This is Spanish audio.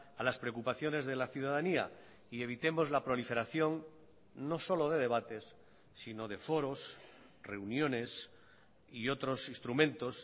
a las preocupaciones de la ciudadanía y evitemos la proliferación no solo de debates sino de foros reuniones y otros instrumentos